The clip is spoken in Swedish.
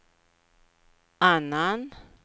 annan